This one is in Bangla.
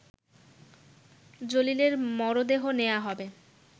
জলিলের মরদেহ নেয়া হবে